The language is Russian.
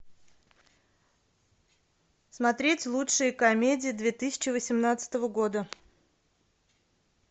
смотреть лучшие комедии две тысячи восемнадцатого года